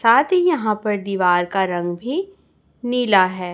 साथ ही यहां पर दीवार का रंग भी नीला है।